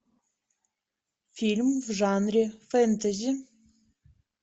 фильм в жанре фэнтези